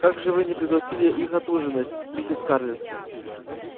как же вы не пригласили их отужинать миссис скарлетт